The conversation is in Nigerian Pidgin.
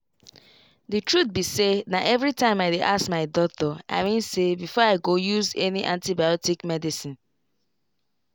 the truth be sayna everytime i dey ask my doctor i mean say before i go use any antibiotic medicine.